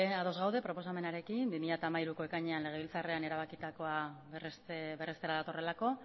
ados gaude proposamenarekin bi mila hamairuko ekainean legebiltzarrean erabakitakoa berrestera datorrelako